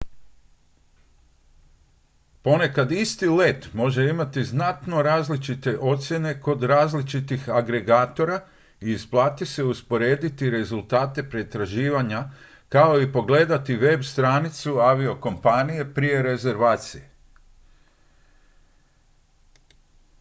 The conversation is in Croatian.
ponekad isti let može imati znatno različite cijene kod različitih agregatora i isplati se usporediti rezultate pretraživanja kao i pogledati web-stranicu aviokompanije prije rezervacije